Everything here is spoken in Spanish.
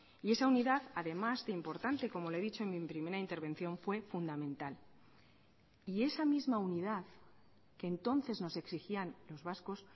y esa unidad además de importante como le he dicho en mi primera intervención fue fundamental y esa misma unidad que entonces nos exigían los vascos